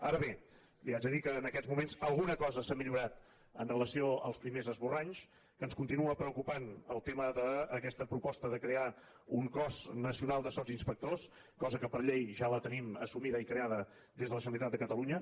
ara bé li haig de dir que en aquests moments alguna cosa s’ha millorat amb relació als primers esborranys que ens continua preocupant el tema d’aquesta proposta de crear un cos nacional de subinspectors cosa que per llei ja tenim assumida i creada des de la generalitat de catalunya